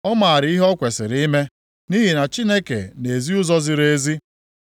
Ọ maara ihe o kwesiri ime, nʼihi na Chineke na-ezi ụzọ ziri ezi.